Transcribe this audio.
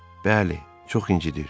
"Bəli, çox incidr."